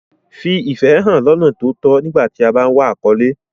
Fi ìfẹ́ hàn lọ́nà tó tọ́ nígbà tí o bá ń wá àkọ́lé.